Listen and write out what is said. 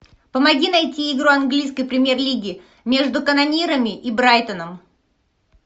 помоги найти игру английской премьер лиги между канонирами и брайтоном